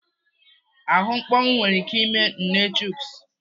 Ahụ mkpọnwụ nwere ike ime nne Chuks.